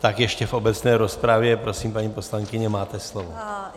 Tak ještě v obecné rozpravě, prosím, paní poslankyně, máte slovo.